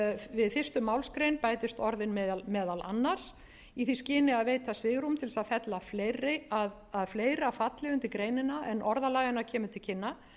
við fyrstu málsgrein bætist orðin meðal annars í því skyni að veita svigrúm til að fella fleiri að fleira falli undir greinina en orðalag hennar gefur til kynna